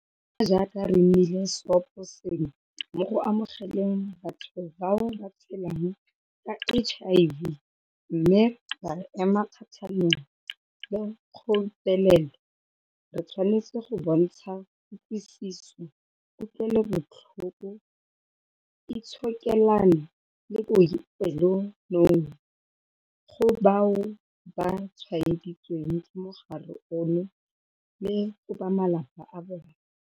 Fela jaaka re nnile seoposengwe mo go amogeleng batho bao ba tshelang ka HIV mme ra ema kgatlhanong le kgobelelo, re tshwanetse go bontsha kutlwisiso, kutlwelobotlhoko, itshokelano le bopelonomi go bao ba tshwaeditsweng ke mogare ono le go ba malapa a bona.